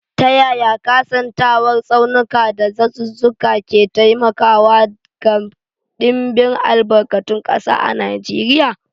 Ta yaya kasantuwar tsaunuka da dazuzzuka ke taimakawa ga dimbin albarkatun kasa a Najeriya?